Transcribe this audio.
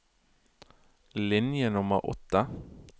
Linje nummer åtte